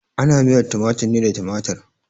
Ana miyar tumatir ne da tumatir.